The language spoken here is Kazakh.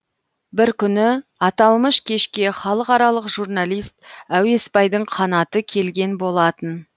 бір күні аталмыш кешке халықаралық журналист әуесбайдың қанаты келген болатын